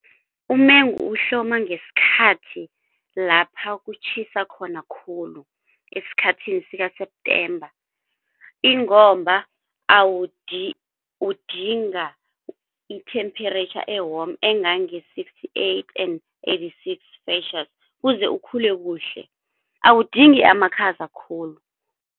Umengu uhloma ngesikhathi lapha kutjhisa khona khulu esikhathini sika-September ingomba udinga i-temperature e-warm engange-sixty-eight and eighty-six celsius kuze ukhule kuhle awudingi amakhaza khulu.